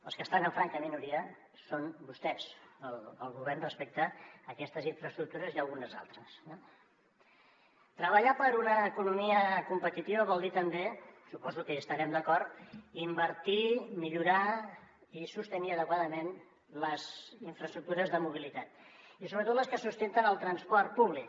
els que estan en franca minoria són vostès el govern respecte a aquestes infraestructures i algunes altres eh treballar per una economia competitiva vol dir també suposo que hi estarem d’acord invertir millorar i sostenir adequadament les infraestructures de mobilitat i sobretot les que sustenten el transport públic